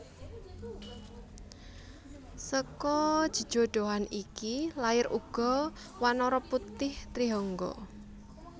Seka jejodhoan iki lair uga wanara putih Trihangga